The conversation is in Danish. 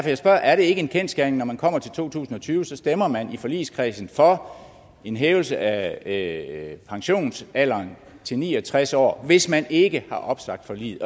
jeg spørger er det ikke en kendsgerning at når man kommer til to tusind og tyve så stemmer man i forligskredsen for en hævelse af pensionsalderen til ni og tres år hvis man ikke har opsagt forliget